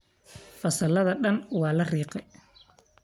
Fasaladha dhaan waa lariige.